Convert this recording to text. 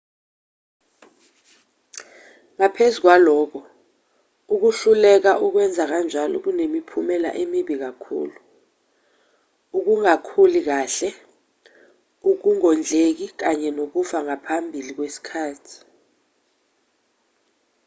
ngaphezu kwalokho ukuhluleka ukwenza kanjalo kunemiphumela emibi kakhulu ukungakhuli kahle ukungondleki kanye nokufa ngaphambi kwesikhathi